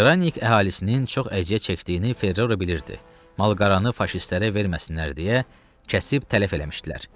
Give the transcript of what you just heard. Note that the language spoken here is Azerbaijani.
Qranik əhalisinin çox əziyyət çəkdiyini Ferrero bilirdi, malqaranı faşistlərə verməsinlər deyə kəsib tələf eləmişdilər.